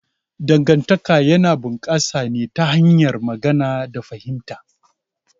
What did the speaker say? Dangantaka yana bunƙasa ne ta hanyar magana da fahimta.